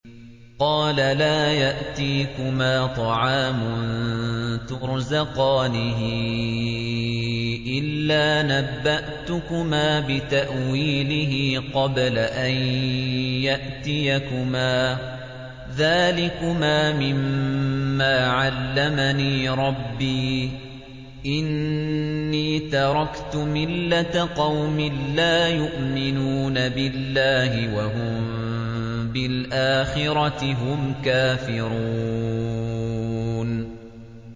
قَالَ لَا يَأْتِيكُمَا طَعَامٌ تُرْزَقَانِهِ إِلَّا نَبَّأْتُكُمَا بِتَأْوِيلِهِ قَبْلَ أَن يَأْتِيَكُمَا ۚ ذَٰلِكُمَا مِمَّا عَلَّمَنِي رَبِّي ۚ إِنِّي تَرَكْتُ مِلَّةَ قَوْمٍ لَّا يُؤْمِنُونَ بِاللَّهِ وَهُم بِالْآخِرَةِ هُمْ كَافِرُونَ